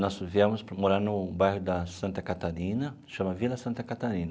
Nós viemos morar no bairro da Santa Catarina, chama Vila Santa Catarina,